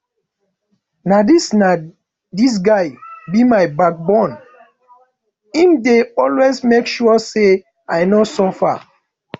na dis na dis guy be my backbone im dey always make sure sey i no suffer